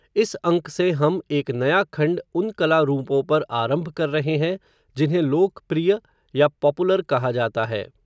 इस अंक से हम, एक नया खंड उन कला रूपों पर आरंभ कर रहे हैं, जिन्हें लोक प्रिय, या पॉपुलर कहा जाता है